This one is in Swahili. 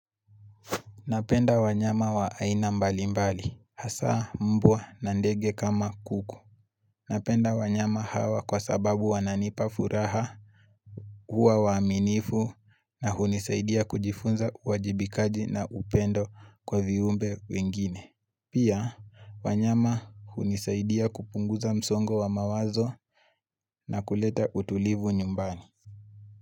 Napenda wanyama wa aina mbalimbali. Hasa mbwa na ndege kama kuku. Napenda wanyama hawa kwa sababu wananipa furaha, huwa waaminifu na hunisaidia kujifunza uwajibikaji na upendo kwa viumbe wengine. Pia, wanyama hunisaidia kupunguza msongo wa mawazo na kuleta utulivu nyumbani.